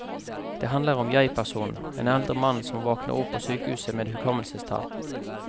Det handler om jegpersonen, en eldre mann, som våkner opp på sykehuset med hukommelsestap.